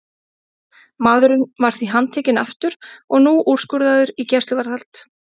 Maðurinn var því handtekinn aftur og nú úrskurðaður í gæsluvarðhald.